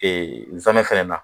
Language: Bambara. Ee nsaamɛ fana na